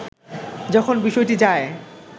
যখন বিষয়টি যায়